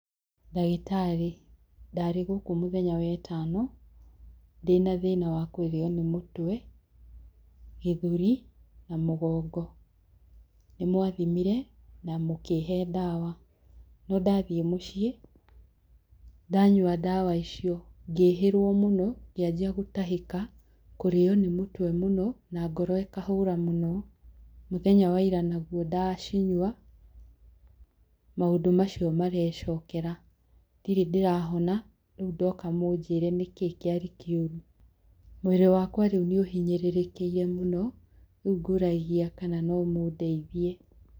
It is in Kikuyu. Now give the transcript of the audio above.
Ndagĩtarĩ ndarĩ gũkũ mũthenya wa ĩtano, ndĩna thĩna wa kũrĩo nĩ mũtwe, gĩthũri na mũgongo. Nĩ mwathimire na mũkihe ndawa. No ndathiĩ mũciĩ, ndanyua ndawa icio, ngĩĩhĩrwo mũno ngĩanjia gũtahĩka, kũrĩo nĩ mũtwe mũno, na ngoro ikahũra mũno. Mũthenya wa ira naguo ndacinyua, maũndũ macio mareecokera. Ndirĩ ndĩrahona, rĩu ndoka mũnjĩre nĩkĩĩ kĩarĩ kĩũru. Mwĩrĩ wakwa rĩu nĩ ũhinyĩrĩrĩkĩire mũno, rĩu ngũragia kana no mũndeithie.